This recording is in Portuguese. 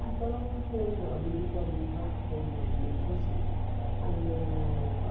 Então, foi a nível família, foi mais ou menos assim.